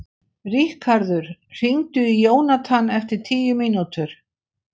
Ríkharður, hringdu í Jónathan eftir tíu mínútur.